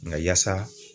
Nka yaasa